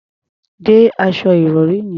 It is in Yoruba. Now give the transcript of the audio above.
De aṣọ ìrọ̀rí yẹn.